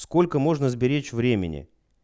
сколько можно сберечь времени